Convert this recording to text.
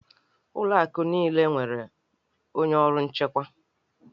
Ụlọ akụ niile nwere onye ọrụ nchekwa